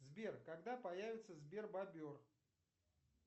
сбер когда появится сбер бобер